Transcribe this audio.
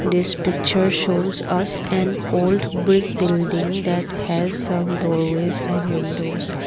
this picture shows us an old brick building that has some doorways and windows.